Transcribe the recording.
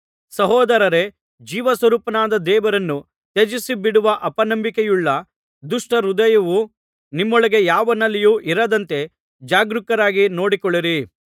ಸಹೋದರರೇ ಜೀವಸ್ವರೂಪನಾದ ದೇವರನ್ನು ತ್ಯಜಿಸಿ ಬಿಡುವ ಅಪನಂಬಿಕೆಯುಳ್ಳ ದುಷ್ಟ ಹೃದಯವು ನಿಮ್ಮೊಳಗೆ ಯಾವನಲ್ಲಿಯೂ ಇರದಂತೆ ಜಾಗರೂಕರಾಗಿ ನೋಡಿಕೊಳ್ಳಿರಿ